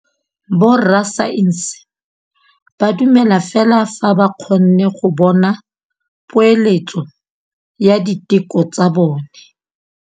Borra saense ba dumela fela fa ba kgonne go bona poeletsô ya diteko tsa bone.